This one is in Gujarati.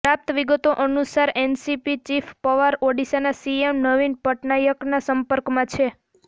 પ્રાપ્ત વિગતો અનુસાર એનસીપી ચીફ પવાર ઓડિશાના સીએમ નવીન પટનાયકના સંપર્કમાં છે